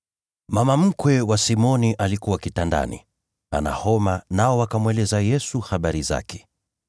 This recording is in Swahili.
Mama mkwe wa Simoni alikuwa kitandani, ana homa, nao wakamweleza Yesu habari zake.